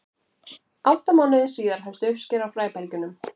átta mánuðum síðar hefst uppskera á fræbelgjunum